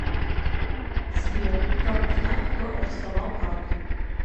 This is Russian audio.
сбер как узнать кто арестовал карту